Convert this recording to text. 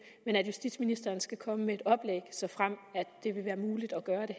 men at justitsministeren skal komme med et oplæg såfremt det vil være muligt at gøre det